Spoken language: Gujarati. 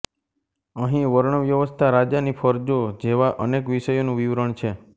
અહીં વર્ણવ્યવસ્થા રાજાની ફરજો જેવા અનેક વિષયોનું વિવરણ છે